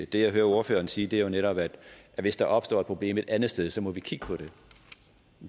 det jeg hører ordføreren sige er jo netop at hvis der opstår et problem et andet sted så må vi kigge på det